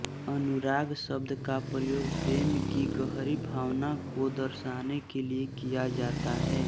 अनुराग शब्द का प्रयोग प्रेम की गहरी भावना को दर्शाने के लिये किया जाता है